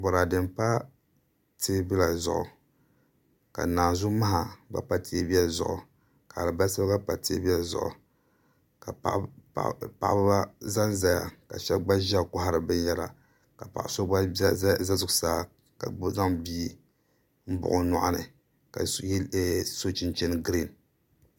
Boraadɛ n pa teebuya zuɣu ka naanzu maha gba pa teebuya zuɣu ka alibarisa gba pa teebuya zuɣu ka paɣaba ʒɛnʒɛya ka shab gba ʒiya kohari binyɛra ka paɣa so gba ʒɛ zuɣusaa ka zaŋ bia n buɣi o nyoɣani ka so chinchin giriin